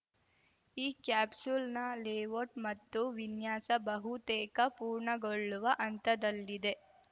ಈ ಕ್ಯಾಪ್ಸೂಲ್‌ನ ಲೇಔಟ್‌ ಮತ್ತು ವಿನ್ಯಾಸ ಬಹುತೇಕ ಪೂರ್ಣಗೊಳ್ಳುವ ಹಂತದಲ್ಲಿದೆ